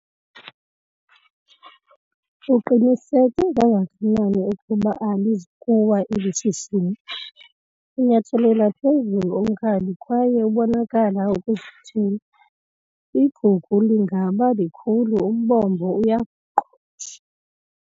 Uqiniseke kangakanani ukuba alizi kuwa eli shishini? unyathelela phezulu unkabi kwaye ubonakala ukuzithemba, igugu lingaba likhulu umbombo uyaqhosha